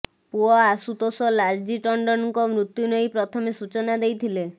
ପୁଅ ଆଶୁତୋଷ ଲାଲଜୀ ଟଣ୍ଡନଙ୍କ ମୃତ୍ୟୁ ନେଇ ପ୍ରଥମେ ସୂଚନା ଦେଇଥିଲେ